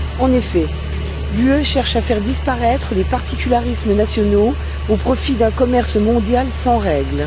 En effet, l'Union européenne cherche à faire disparaître les particularismes nationaux au profit d'un commerce mondial sans règles.